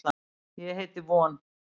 Ég heiti von.